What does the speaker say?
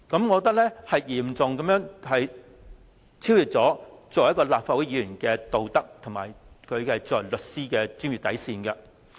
我認為此舉已嚴重超越立法會議員的道德，以及他身為律師的專業底線。